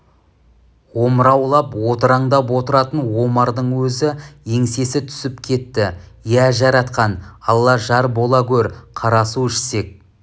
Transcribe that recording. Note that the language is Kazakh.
омыраулап одыраңдап отыратын омардың өзі еңсесі түсіп кетті иә жаратқан алла жар бола гөр қарасу ішсек